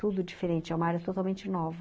Tudo diferente, é uma área totalmente nova.